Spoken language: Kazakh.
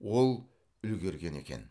ол үлгерген екен